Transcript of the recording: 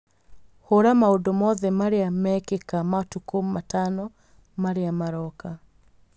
Hũra maũndũ mothe marĩa mekĩka matukũ matano marĩa maroka